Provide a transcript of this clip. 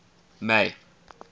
may